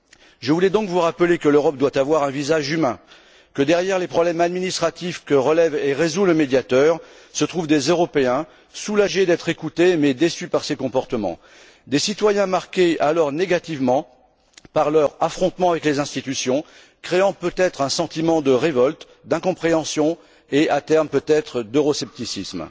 Je voulais donc vous rappeler que l'Europe doit avoir un visage humain, que derrière les problèmes administratifs que relève et résout le Médiateur se trouvent des Européens soulagés d'être écoutés mais déçus par ces comportements, des citoyens marqués négativement par leur affrontement avec les institutions, ce qui risque de créer un sentiment de révolte, d'incompréhension et à terme, peut être, d'euroscepticisme.